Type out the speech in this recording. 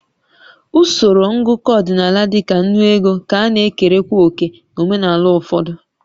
Usoro ngụkọ ọdịnala dị ka ńnú ego ka na-ekerekwa òkè na omenala ụfọdụ